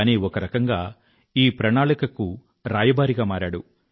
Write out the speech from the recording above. కానీ ఒకరకంగా ఈ ప్రణాళికకు రాయబారిగా మారాడు